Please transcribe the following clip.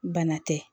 Bana tɛ